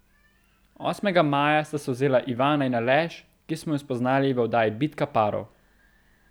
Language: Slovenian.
Osmega maja sta se vzela Ivana in Aleš, ki smo ju spoznali v oddaji Bitka parov.